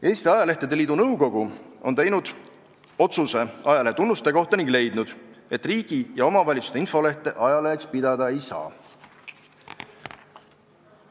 Eesti Ajalehtede Liidu nõukogu on teinud otsuse ajalehe tunnuste kohta ning leidnud, et riigi ja omavalitsuste infolehti ajaleheks pidada ei saa.